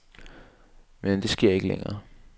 Men det sker ikke længere.